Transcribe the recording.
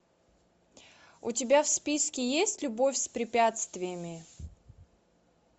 у тебя в списке есть любовь с препятствиями